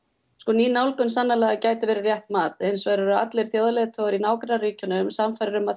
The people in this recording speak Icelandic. ný nálgun sannarlega gæti verið rétt mat hins vegar eru allir þjóðarleiðtogar í nágrannaríkjunum sannfærðir um að